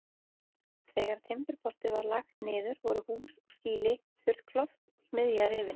Þegar Timburportið var lagt niður voru hús og skýli, þurrkloft og smiðja rifin.